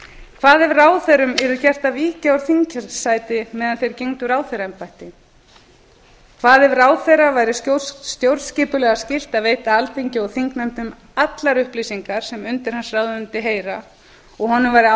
hvað er ráðherrum yrði gert að víkja úr þingsæti meðan þeir gegndu ráðherraembætti hvað ef ráðherra væri stjórnskipulega skylt að veita alþingi og þingnefndum allar upplýsingar sem undir hans ráðuneyti heyra og honum væri